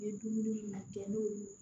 Ni ye dumuni kɛ n'o ye